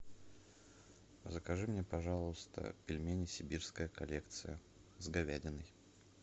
закажи мне пожалуйста пельмени сибирская коллекция с говядиной